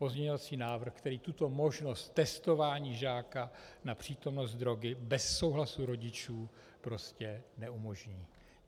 Pozměňovací návrh, který tuto možnost testování žáka na přítomnost drogy bez souhlasu rodičů prostě neumožní.